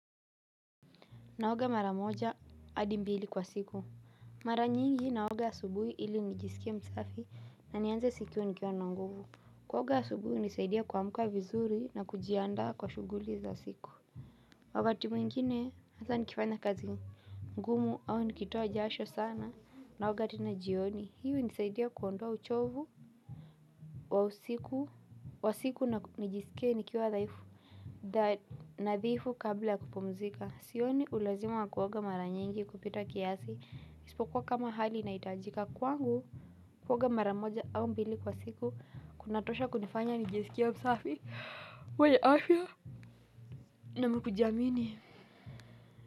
Naoga mara moja, adimbili kwa siku. Mara nyingi naoga asubuhi ili nijisikie msafi na nianze siku nikiwa na nguvu. Kuoga asubuhi nisaidia kwamkwa vizuri na kujianda kwa shuguli za siku. Wakati mwingine, hata nikifanya kazi ngumu au nikitoa jasho sana. Naoga tena jioni, hiyo hunisaidia kuondoa uchovu kwa siku nijisikie nikiwa dhaifu. Da nadhifu kabla kupumzika sioni ulazima kuwoga mara nyingi kupita kiasi ispokuwa kama hali inaitajika kwangu kuwoga mara moja au mbili kwa siku kunatosha kunifanya nijisikia msafi we afya na mkujamini.